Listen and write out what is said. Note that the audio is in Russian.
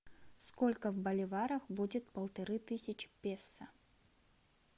сколько в боливарах будет полторы тысячи песо